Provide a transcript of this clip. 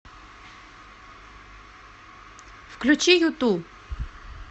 включи юту